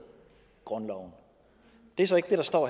grundloven det er så ikke det der står